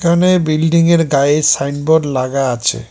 এখানে বিল্ডিংয়ের গায়ে সাইনবোর্ড লাগা আছে।